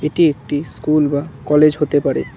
এটি একটি স্কুল বা কলেজ হতে পারে।